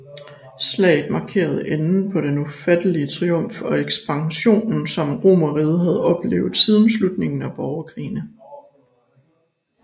Slaget markerede enden på den ufattelige triumf og ekspansion som Romerriget havde oplevet siden slutningen på borgerkrigene